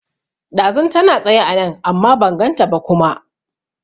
Ɗazun tana tsaye anan amma ban ganta ba kuma